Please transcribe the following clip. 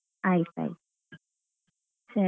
ಆಯ್ತ್ ಆಯ್ತ್ ಸರಿ.